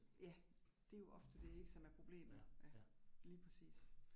Ja, det jo ofte det ik, som er problemet ja. Lige præcis